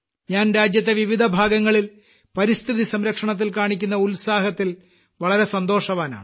ഞാൻ രാജ്യത്തെ വിവിധഭാഗങ്ങളിൽ പരിസ്ഥിതി സംരക്ഷണത്തിൽ കാണിക്കുന്ന ഉത്സാഹത്തിൽ വളരെ സന്തോഷവാനാണ്